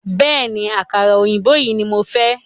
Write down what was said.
Bẹ̀ẹ́ni, àkàrà òyìnbó yìí ní mo fẹ́.